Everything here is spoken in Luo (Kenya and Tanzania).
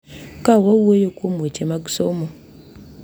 Ka wawuoyo kuom weche mag somo,